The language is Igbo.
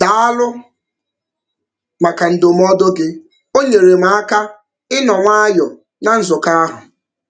Daalụ maka ndụmọdụ gị, o nyeere m aka ịnọ nwayọọ na nzukọ ahụ.